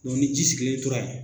ni ji sigilen tora yen